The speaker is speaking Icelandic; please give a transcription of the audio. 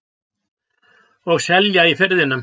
Og selja í Firðinum.